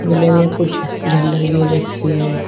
Play में कुछ झल्लर गिर रखी है।